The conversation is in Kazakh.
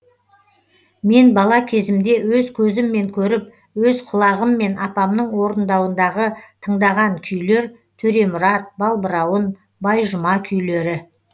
мен бала кезімде өз көзіммен көріп өз құлағыммен апамның орындауындағы тыңдаған күйлер төремұрат балбырауын байжұма күйлері